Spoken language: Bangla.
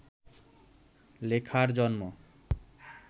লেখার জন্ম